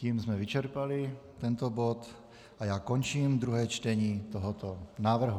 Tím jsme vyčerpali tento bod a já končím druhé čtení tohoto návrhu.